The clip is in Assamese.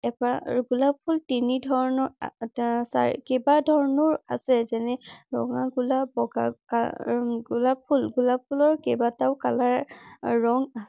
এপাহ গোলাপ ফুল তিনি ধৰণৰ কেইবা ধৰণৰ আছে যেনে ৰঙা গোলপ বগা গোলাপ । গোলাপ ফুল গোলাপ ফুলৰ কেইবাটাও কা‌লাৰ ৰঙ